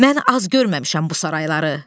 Mən az görməmişəm bu sarayları.